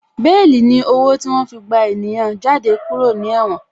Béèlì ni owó tí wọ́n fi gba ènìyàn jáde kúrò ní Ẹ̀wòn